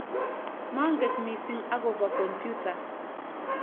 manget mising' akobo kompyuta